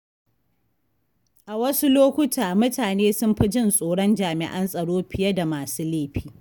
A wasu lokuta, mutane sun fi jin tsoron jami’an tsaro fiye da masu laifi.